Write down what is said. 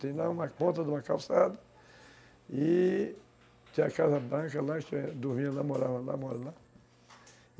Tem lá uma conta de uma calçada e tem a casa branca lá, que eu dormia lá, morava lá, mora lá.